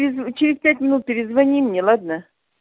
черезминут перезвони мне ладно